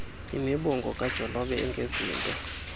irnibongo kajolobe engezinto